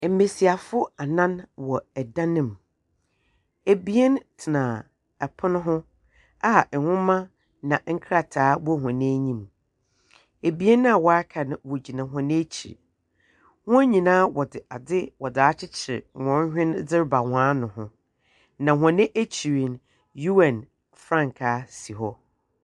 Mbesiafo anan wɔ dan mu. Abien tena pon ho a nhoma na nkrataa gu hɔn enyim. Abien a wɔaka no wogyina wɔn akyir. Hɔn nyinaa wɔdze ade akyekyer hɔn hwen dze reba hɔn ano ho, na hɔn akyir no, UN frankaa si hɔ.